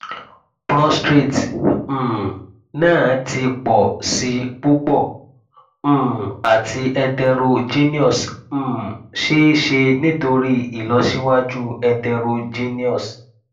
prostate um naa ti pọ si pupọ um ati heterogeneous um ṣee ṣe nitori ilọsiwaju heterogeneous